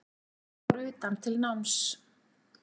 Fór utan til náms